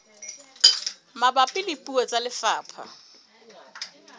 mabapi le puo tsa lefapha